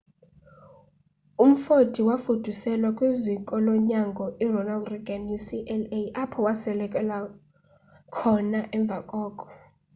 umfoti wafuduselwa kwiziko lonyango ironald reagan ucla apho wasweleka khona emva koko